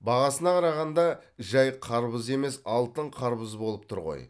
бағасына қарағанда жай қарбыз емес алтын қарбыз болып тұр ғой